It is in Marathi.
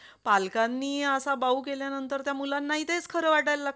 Okay एकवेळा registration झाल्या नंतर patient ला आणायचं आणि admit करायचं तो सगळा खर्च योजने through होईल बरोबर?